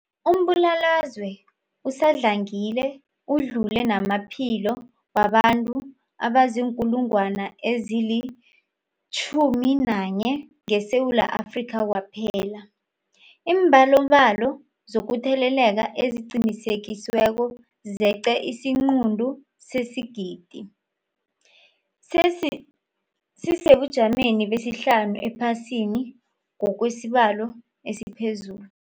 Umbulalazwe usadlangile udlule namaphilo wabantu abaziinkulungwana ezi-11 ngeSewula Afrika kwaphela. Iimbalobalo zokutheleleka eziqinisekisiweko zeqe isiquntu sesigidi, sisesebujameni besihlanu ephasini ngokwesibalo esiphezulu.